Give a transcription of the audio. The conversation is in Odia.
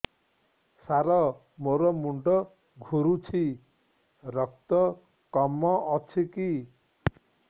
ସାର ମୋର ମୁଣ୍ଡ ଘୁରୁଛି ରକ୍ତ କମ ଅଛି କି